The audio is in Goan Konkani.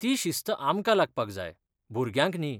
ती शिस्त आमकां लागपाक जाय, भुरग्यांक न्ही.